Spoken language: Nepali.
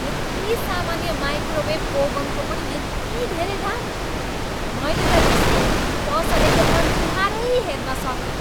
यति सामान्य माइक्रोवेभ ओभेनको पनि यति धेरै दाम? मैले त रिसले पसलेको अनुहारै हेर्न सकिनँ।